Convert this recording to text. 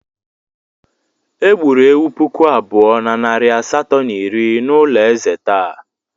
Egburu ewu puku abụọ na narị asatọ na iri n'ụlọ ezé taa.